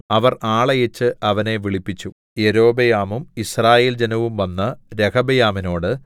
അവർ ആളയച്ച് അവനെ വിളിപ്പിച്ചു യൊരോബെയാമും യിസ്രായേൽ ജനവും വന്ന് രെഹബെയാമിനോട്